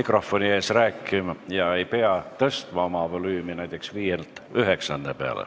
mikrofoni ees rääkija ei pea tõstma oma volüümi näiteks 5-ndalt 9-nda peale?